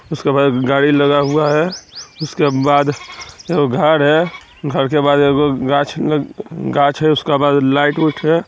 उसके पास एक गाड़ी लगा हुआ है उसके बाद एगो घर है घर के बाद गाछ गा-गाछ है उसका बाद लाइट -उट है।